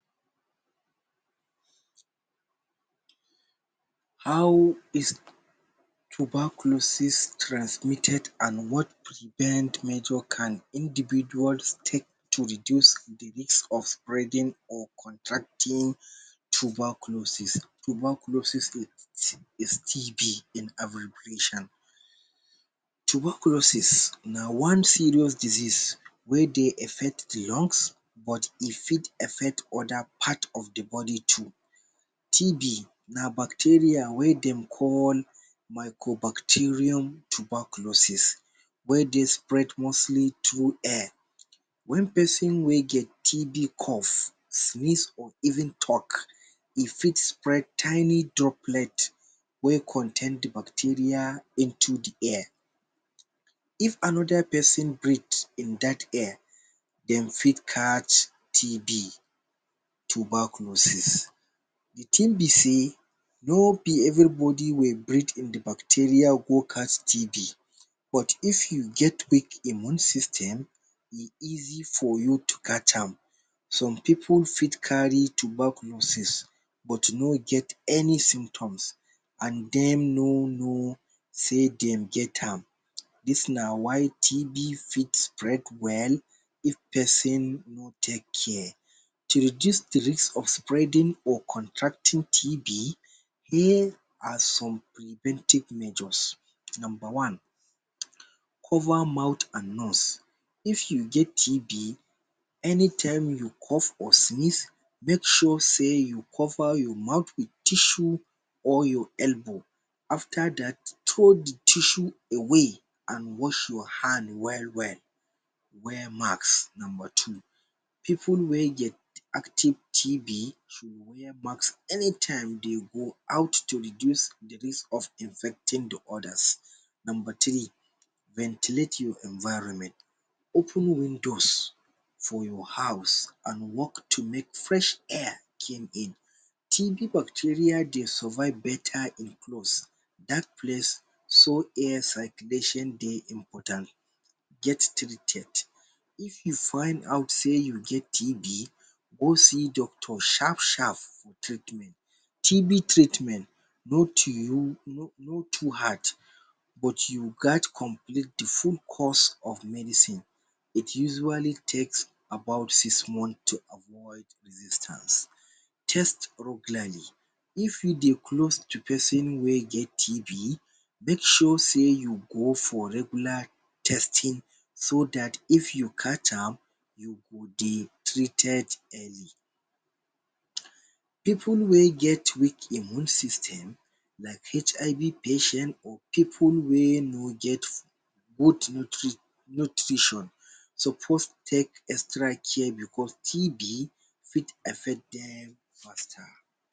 How is tuberculosis transmitted and wat prevent method can individual take to reduce de risk of spreading or contracting tuberculosis tuberculosis is TB in abbreviations. Tuberculosis na one serious diseases wey dey affect de lungs but e fit affect other part of de body too. TB na bacteria wey dem call micro bacterium tuberculosis wey dey spread mostly through air. when person wey get TB, cough sneeze or even talk, e fit spread tiny droplets wey contain de bacteria into de air. if another person breathe in that air, dem fit catch TB tuberculosis de thing be sey no be everybody wey breathe in de bacteria go catch TB but if you get weak immune system, then e easy for you to catch am. some pipu fit carry tuberculosis but no get any symptoms and dem no know sey dem gets this na why TB fit break well. if person no take care, de risk of spreading or contracting TB high. Here are some preventive measures: number one: cover mouth and nose if you get TB anytime you cough or sneeze, make sure sey you cover your mouth with tissue or your elbow after that throw de tissue away and wash your hand well well. wear mask number two: pipu wey dey have TB should wear mask anytime dey go out to reduce of infecting de others. number three: ventilate your environment. open windows for your house and walk to make fresh air come in. TB bacteria dey survive beta in closed dark place slow air circulation dey important get treated if you find out sey you get TB, go see doctor sharp sharp for treatment. TB treatment no too no too hard but you get complete de full course of medicine. it usually takes six months to avoid resistance, test pre planning if you dey close to person wey get TB make, sure sey you go for regular testing so that if you catch am, you go dey treated early. pipu wey get weak immune system like HIV patients or pipu wey no get good nutrition suppose take extra care because TB fit affect dem faster.